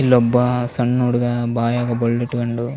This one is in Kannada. ಇಲ್ಲೊಬ್ಬ ಸಣ್ಣ್ ಹುಡುಗ ಬಾಯಾಗ ಬೆರಳಿಟ್ಟ್ ಕೊಂಡು --